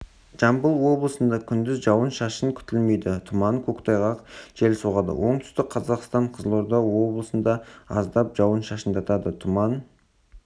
жамбыл облысында күндіз жауын-шашын күтілмейді тұман көктайғақ жел соғады оңтүстік қазақстан қызылорда облысында аздап жауын-шашындатады тұман